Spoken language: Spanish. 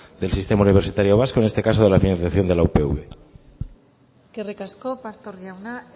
del sistema universitario vasco en este caso de la financiación de la upv eskerrik asko pastor jauna